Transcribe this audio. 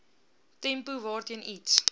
tempo waarteen iets